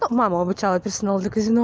то мама обучала персонал для казино